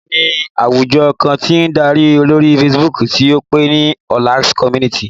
Olá ní àwùjọ kan tí ń darí lórí Facebook tí ó pè ní Ọlax Community